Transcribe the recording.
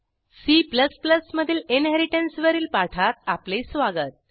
C मधील inheritance वरील पाठात आपले स्वागत